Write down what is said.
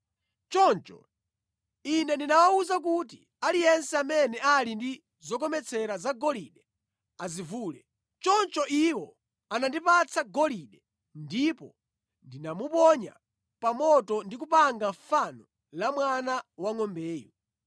Choncho ine ndinawawuza kuti, ‘Aliyense amene ali ndi zokometsera zagolide azivule.’ Choncho iwo anandipatsa golide, ndipo ndinamuponya pa moto ndi kupanga fano la mwana wangʼombeyu.”